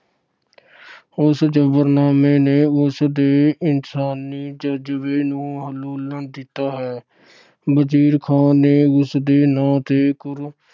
ਉਸ ਜ਼ਫ਼ਰਨਾਮੇ ਨੇ ਉਸ ਦੇ ਇਨਸਾਨੀ ਜਜਬੇ ਨੂੰ ਹਲੂਣ ਦਿੱਤਾ ਹੈ। ਵਜੀਰ ਖਾਨ ਨੇ ਉਸ ਦੇ ਨਾਂ ਤੇ ਗੁਰੂ